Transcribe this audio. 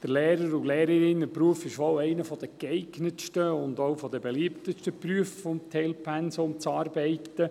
Der Lehrer- und Lehrerinnenberuf ist wohl einer der geeignetsten und auch beliebtesten Berufe, um im Teilpensum zu arbeiten.